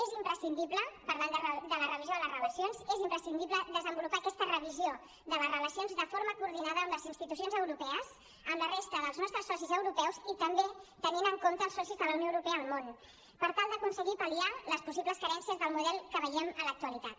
és imprescindible parlant de la revisió de les relacions desenvolupar aquesta revisió de les relacions de forma coordinada amb les institucions europees amb la resta dels nostres socis europeus i també tenint en compte els socis de la unió europea al món per tal d’aconseguir pal·liar les possibles carències del model que veiem a l’actualitat